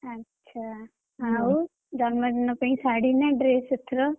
ଆ ଚ୍ଛା ଆଉ ଜନ୍ମଦିନ ପାଇଁ ଶାଢୀ ନା dress ଏଥର?